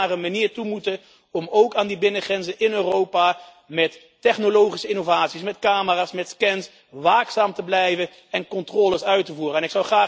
We zullen een manier moeten vinden om ook aan die binnengrenzen in Europa met technologische innovaties, met camera's, met scans, waakzaam te blijven en controles uit te voeren.